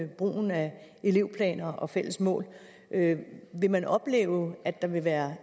brugen af elevplaner og fælles mål vil man opleve at der vil være